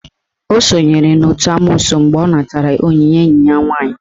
O sonyere n'otu n'amoosu mgbe ọ natara onyinye enyi ya nwaanyị.